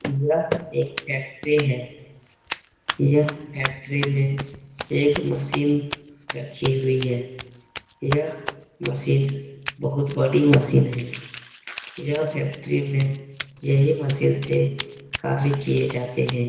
यह एक फैक्ट्री है। यह फैक्ट्री में एक मशीन रखी हुई है। यह मशीन बहुत बड़ी मशीन है। यह फैक्ट्री में यही मशीन से कार्य किए जाते हैं ।